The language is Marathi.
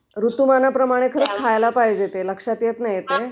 ऋतीमानाप्रमाणे खायला पाहिजे ते...लक्षात येत नाही ते